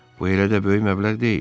Bu elə də böyük məbləğ deyil.